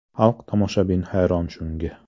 Xalq, tomoshabin hayron shunga.